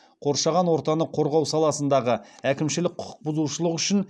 қоршаған ортаны қорғау саласындағы әкімшілік құқықбұзушылық үшін